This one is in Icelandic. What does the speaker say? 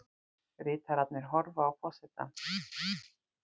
Ritararnir horfa á forsetann.